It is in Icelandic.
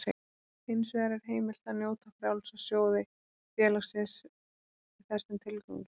Hins vegar er heimilt að nota frjálsa sjóði félagsins í þessum tilgangi.